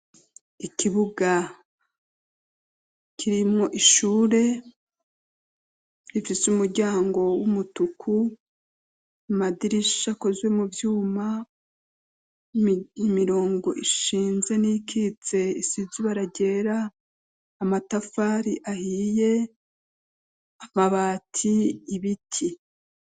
Ikibuga kirimwo ishure rifise umuryango w'umutuku amadirisha akozwe mu vyuma imirongo ishinze n'ikitse isizuba ararera amatafari ahiye amabati ibiti.